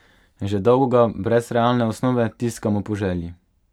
Že dolgo ga, brez realne osnove, tiskamo po želji.